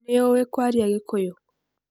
Nĩũĩ kwaria gĩkũyũ?